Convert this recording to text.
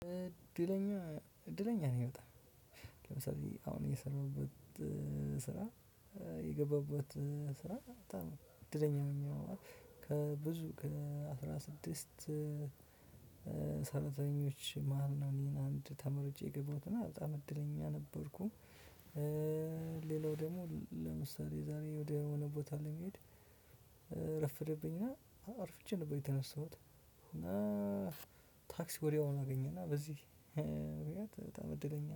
እድለኛ እድለኛ ነኝ በጣም፤ ለምሳሌ አሁን የሰራሁበት ስራ፤ የገባሁበት ስራ በጣም እድለኛ መሆነው፤ ከብዙ ከ አስራ ስድስት ሰራተኞች መሃል ነው እኔን አንድ ተመርጬ ነው የገባሁት እና በጣም እድለኛ ነበርኩ። ሌላው ደግሞ ለምሳሌ ዛሬ ወደ ሆነ ቦታ ለመሄድ ረፍድብኝና አርፍቼ ነበር የተነሳሁት እና ታክሲ ወዲያውኑ አገኘን እና በዚህ በጣም እድለኛ ነኝ።